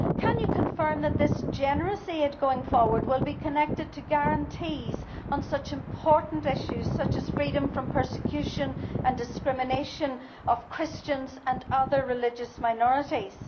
Can you confirm, Commissioner, that this generous aid going forward will be connected to guarantees on such important issues as freedom from persecution and discrimination for Christians and other religious minorities?